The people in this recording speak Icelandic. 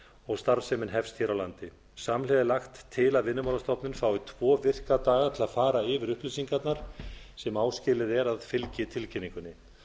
og starfsemin hefst hér á landi samhliða er lagt til að vinnumálastofnun fái tvo virka daga til að fara yfir upplýsingarnar sem áskilið er að fylgi tilkynningunni